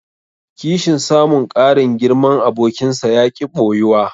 Kishin samun ƙarin girman abokinsa yaƙi ɓoyuwa.